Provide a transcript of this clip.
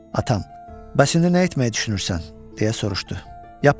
Atam, bəs indi nə etməyi düşünürsən, deyə soruşdu.